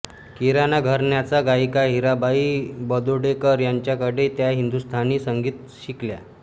किराणा घराण्याच्या गायिका हिराबाई बडोदेकर यांच्याकडे त्या हिंदुस्तानी संगीत शिकल्या